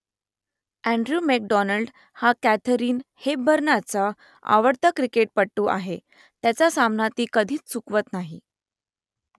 Andrew McDonald हा Katharine हेपबर्नचा आवडता क्रिकेटपटू आहे त्याचा सामना ती कधीच चुकवत नाही